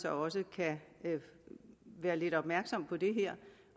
også kan være lidt opmærksom på det her